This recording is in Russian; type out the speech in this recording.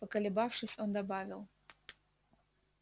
поколебавшись он добавил